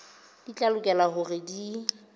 di tla lokela hore di